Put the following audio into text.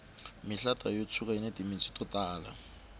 mihlata yo tshuka yini timitsu to tala